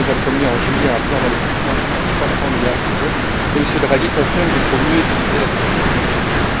Juncker nous a promis, en juillet, un plan d'investissement de près de 300 milliards d'euros et M. Draghi confirme qu'il faut mieux utiliser la politique budgétaire.